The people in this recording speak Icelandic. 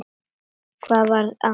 Hvað var að?